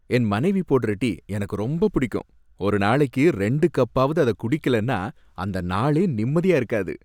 என் மனைவி போட்ற டீ எனக்கு ரொம்ப புடிக்கும், ஒரு நாளைக்கு ரெண்டு கப்பாவது அத குடிகலேனா அந்த நாளே நிம்மதியா இருக்காது.